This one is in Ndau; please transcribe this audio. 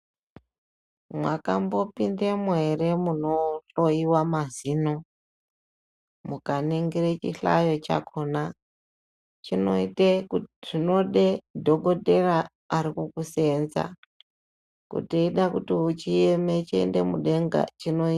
Mwakambopindemwo ere munohloyiwa mazin mukaningire chihlayo chakhona. Chinoita zvinoda dhokotera ari kukusenza, kuti eida kuti chieme chiende mudenga chinoite.